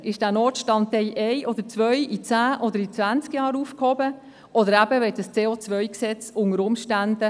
– Wird dieser Notstand in einem Jahr, in zehn oder in zwanzig Jahren aufgehoben werden, oder unter Umständen, sobald das CO-Gesetz überwiesen wird?